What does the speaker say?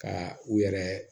Ka u yɛrɛ